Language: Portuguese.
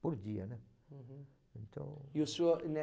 Por dia, né? Uhum. Então... E o senhor